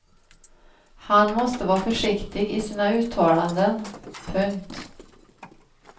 Han måste vara försiktig i sina uttalanden. punkt